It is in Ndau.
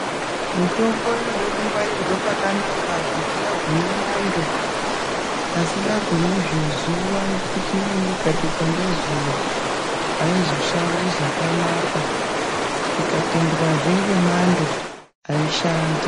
Mitombo inoda kungwarirwa pakanaka pasingagumi mwando pasingagumi zvezuwa ngekuti imweni ikabikwa ngezuwa haizoshandi zvakanaka ikapindwa zvenemwando haishandi.